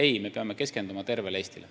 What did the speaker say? Ei, me peame keskenduma tervele Eestile.